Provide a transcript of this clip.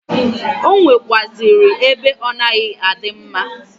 O nwekwuazịrị ebe ọ na-adịghị mma.